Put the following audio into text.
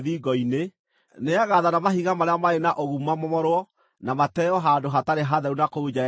nĩagaathana mahiga marĩa marĩ na ũgumu mamomorwo na mateo handũ hatarĩ hatheru na kũu nja ya itũũra.